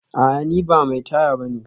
A'a ni ba mai taya bane